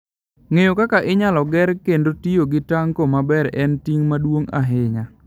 Ng'eyo kaka inyalo ger kendo tiyo gi tanko maber en ting' maduong' ahinya.